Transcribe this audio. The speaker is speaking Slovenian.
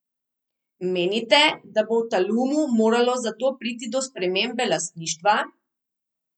Menite, da bo v Talumu moralo za to priti do spremembe lastništva?